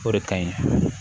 O de ka ɲi